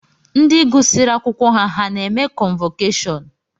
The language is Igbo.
Ndi gụsiri akwụkwọ ha na-eme kọnvọkashọnụ?